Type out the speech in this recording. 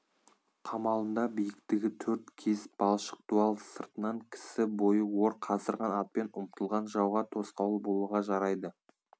қамалында биіктігі төрт кез балшық дуал сыртынан кісі бойы ор қаздырған атпен ұмтылған жауға тосқауыл болуға жарайды